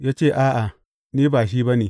Ya ce, A’a, ni ba shi ba ne.